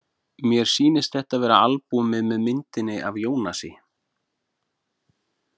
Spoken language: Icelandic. Mér sýnist þetta vera albúmið með myndinni af Ionasi.